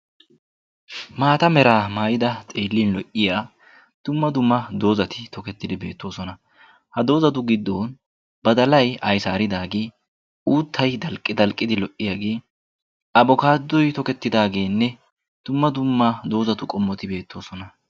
maata meraa maayida xeellin lo77iya dumma dumma doozati tokettidi beettoosona ha doozatu giddon ba dalai aisaaridaagee uuttai dalqqidi lo77iyaagee abokaadoi tokettidaageenne dumma dumma doozatu qommoti beettoosona